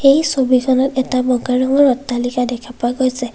এই ছবিখনত এটা প্ৰকাণ্ড অট্টালিকা দেখা পোৱা গৈছে।